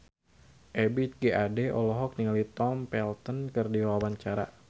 Ebith G. Ade olohok ningali Tom Felton keur diwawancara